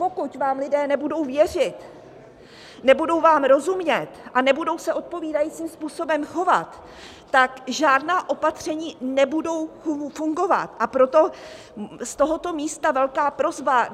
Pokud vám lidé nebudou věřit, nebudou vám rozumět a nebudou se odpovídajícím způsobem chovat, tak žádná opatření nebudou fungovat, a proto z tohoto místa velká prosba.